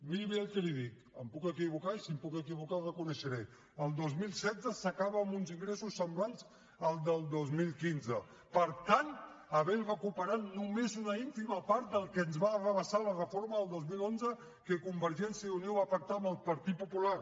miri bé el que li dic em puc equivocar i si em puc equivocar ho reconeixeré el dos mil setze s’acaba amb uns ingressos semblants als del dos mil quinze per tant havent recuperat només una ínfima part del que ens va arrabassar la reforma del dos mil onze que convergència i unió va pactar amb el partit popular